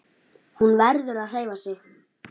Hún verður að hreyfa sig.